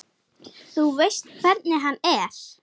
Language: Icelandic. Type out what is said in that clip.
Þú veist hvernig hann er.